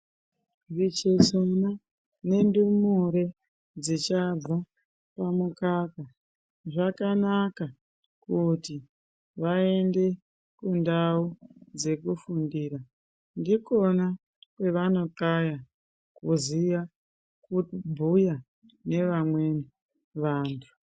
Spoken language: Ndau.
Vechechana nendumure dzichabva pamukaka zvakanaka kuti vaende kundau dzekufundira ndikona kwevanothaya kuziya kubhuya nevamweni vantu.